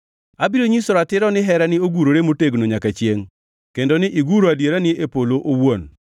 Abiro nyiso ratiro ni herani ogurore motegno nyaka chiengʼ; kendo ni ne iguro adierani e polo owuon.